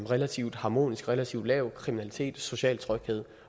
relativt harmonisk relativt lav kriminalitet social tryghed